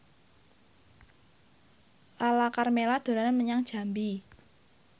Lala Karmela dolan menyang Jambi